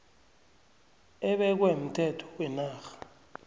ebekwe mthetho wenarha